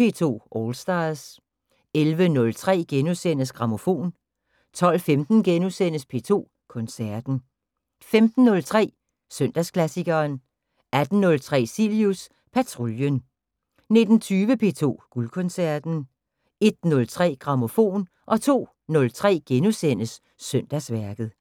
P2 All Stars 11:03: Grammofon * 12:15: P2 Koncerten * 15:03: Søndagsklassikeren 18:03: Cilius Patruljen 19:20: P2 Guldkoncerten 01:03: Grammofon 02:03: Søndagsværket *